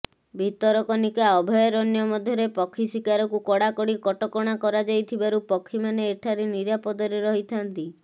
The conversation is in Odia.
ଭିତରକନିକା ଅଭୟାରଣ୍ୟ ମଧ୍ୟରେ ପକ୍ଷୀ ଶିକାରକୁ କଡ଼ା କଡ଼ି କଟକଣା କରାଯାଇଥିବାରୁ ପକ୍ଷୀମାନେ ଏଠାରେ ନିରାପଦରେ ରହିଥାନ୍ତି